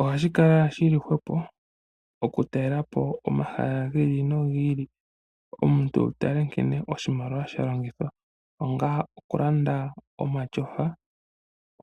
Ohashi kala shili hwepo oku talela po omahala gi ili nogi ili omuntu wu tale nkene oshimaliwa sha longithwa onga oku landa omatyofa